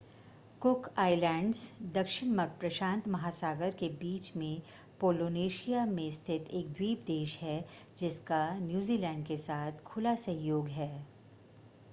Cook Islands दक्षिण प्रशांत महासागर के बीच में पोलिनेशिया में स्थित एक द्वीप देश है, जिसका नूजीलैंड के साथ खुला सहयोग है ।